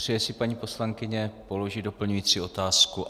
Přeje si paní poslankyně položit doplňující otázku?